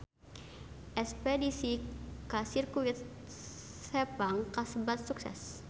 Espedisi ka Sirkuit Sepang kasebat sukses